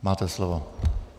Máte slovo.